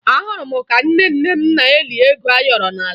Ahụrụ m ka nne nne m na-eli ego ayọrọ n'ala